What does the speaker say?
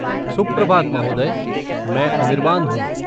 सुप्रभात महोदय, मैं अनिरबान हूँ।